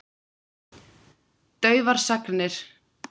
Daufar sagnir.